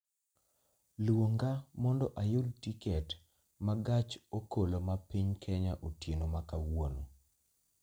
Luonga mondo ayud tiket ma gach okoloma piny Kenya otieno ma kawuono